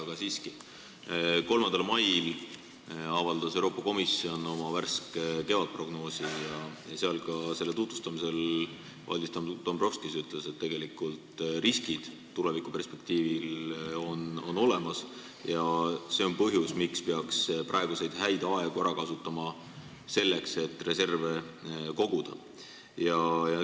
Aga siiski, 3. mail avaldas Euroopa Komisjon oma värske kevadprognoosi ja selle tutvustamisel ütles Valdis Dombrovskis, et tulevikuperspektiivis on riskid olemas ja see on põhjus, miks peaks praeguseid häid aegu ära kasutama selleks, et reserve koguda.